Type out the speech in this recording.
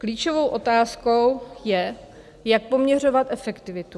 Klíčovou otázkou je, jak poměřovat efektivitu.